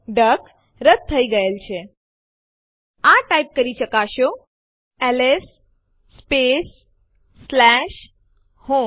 તેઓ રદ થઇ ગયા છે તે જોવા માટે ફરીથી લખો એલએસ ટેસ્ટડિર